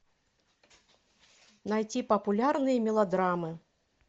найти популярные мелодрамы